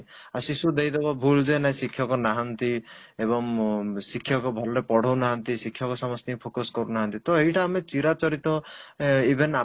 ଆଉ ଶିଶୁ ଦେଇଦେବ ଭୁଲ ଯେ ନାଇଁ ଶିକ୍ଷକ ନାହାନ୍ତି ଏବଂ ଶିକ୍ଷକ ଭଲ ପଢ଼ଉନାହାନ୍ତି ଶିକ୍ଷକ ସମସ୍ତଙ୍କୁ focus କରୁନାହାନ୍ତି ତ ଏଇଟା ଆମେ ଚିରାଚରିତ even ଆପଣ